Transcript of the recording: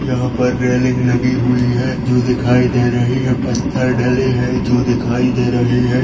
यहाँ पर रैलिंग लगी हुई है जो दिखाई दे रही है पत्थर डले है जो दिखाई दे रहे है।